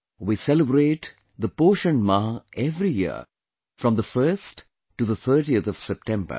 We celebrate the Poshan Maah every year from the 1st to the 30th of September